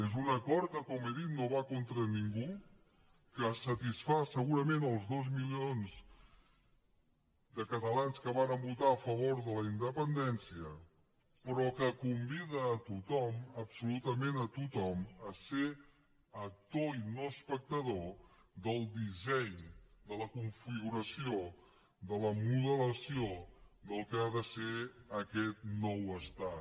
és un acord que com he dit no va contra ningú que satisfà segurament els dos milions de catalans que varen votar a favor de la independència però que convida a tothom absolutament a tothom a ser actor i no espectador del disseny de la configuració del modelatge del que ha de ser aquest nou estat